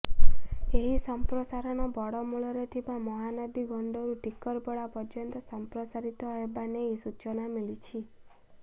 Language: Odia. ଏହି ସମ୍ପ୍ରସାରଣ ବଡ଼ମୂଳରେ ଥିବା ମହାନଦୀ ଗଣ୍ଡରୁ ଟିକରପଡ଼ା ପର୍ଯ୍ୟନ୍ତ ସଂପ୍ରସାରିତ ହେବା ନେଇ ସୂଚନା ମିଳିଛି